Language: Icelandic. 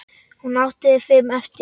Hún átti fimm eftir.